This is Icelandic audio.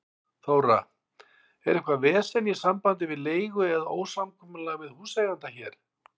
Þóra: Er eitthvað vesen í sambandi við leigu eða ósamkomulag við húseiganda hér?